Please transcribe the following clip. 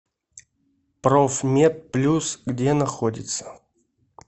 профмед плюс где находится